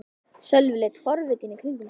Sölvi leit forvitinn í kringum sig.